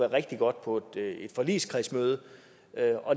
rigtig godt på et forligskredsmøde